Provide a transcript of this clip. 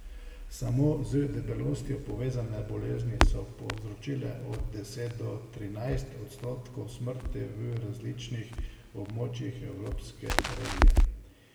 Samo z debelostjo povezane bolezni so povzročile od deset do trinajst odstotkov smrti v različnih območjih evropske regije.